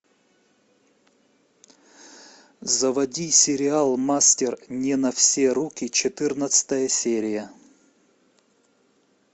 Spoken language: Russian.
заводи сериал мастер не на все руки четырнадцатая серия